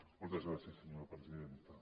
moltes gràcies senyora presidenta